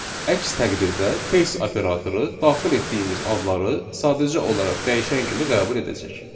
Əks təqdirdə case operatoru daxil etdiyimiz adları sadəcə olaraq dəyişən kimi qəbul edəcək.